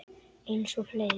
Eins og fleiri.